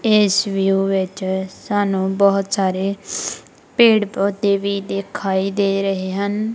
ਇਸ ਵਿਊ ਵਿੱਚ ਸਾਨੂੰ ਬਹੁਤ ਸਾਰੇ ਪੇੜ ਪੌਦੇ ਵੀ ਦਿਖਾਈ ਦੇ ਰਹੇ ਹਨ।